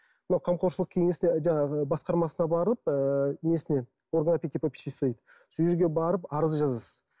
мына қамқоршылық кеңесіне жаңағы басқармасына барып ыыы несіне орган опеки попечительства дейді сол жерге барып арыз жазасыз